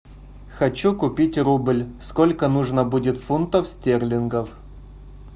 хочу купить рубль сколько нужно будет фунтов стерлингов